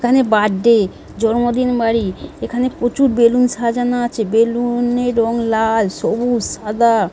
এখানে বার্থডে জন্মদিন বাড়ি। এখানে প্রচুর বেলুন সাজানো আছে। বেলুন -এর রং লাল সবুজ সাদা।